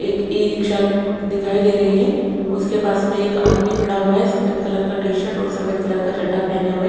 एक e rickshaw दिखाई दे रही हैं उसके पास में एक आदमी खड़ा हुआ हैं सफेद कलर का टी शर्ट और सफेद कलर का चड्डा पहने हुए।